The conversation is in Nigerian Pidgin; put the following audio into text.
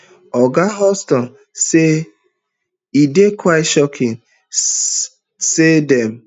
oga houghton tok say e dey quite shocking say dem